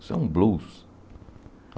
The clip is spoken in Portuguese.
Isso é um blues.